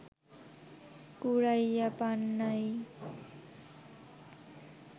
কুড়াইয়া পান নাই